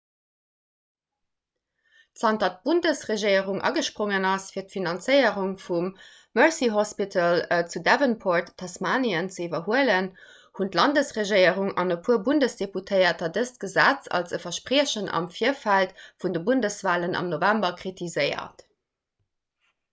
zanter d'bundesregierung agesprongen ass fir d'finanzéierung vum mersey hospital zu devonport tasmanien ze iwwerhuelen hunn d'landesregierung an e puer bundesdeputéierter dëst gesetz als e verspriechen am virfeld vun de bundeswalen am november kritiséiert